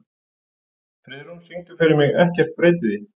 Friðrún, syngdu fyrir mig „Ekkert breytir því“.